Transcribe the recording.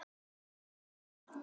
Mér sýndist þetta.